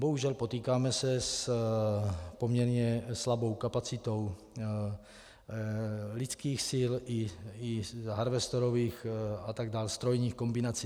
Bohužel, potýkáme se s poměrně slabou kapacitou lidských sil i harvestorových a tak dál strojních kombinací.